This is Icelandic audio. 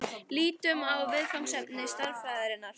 Lítum á viðfangsefni stærðfræðinnar.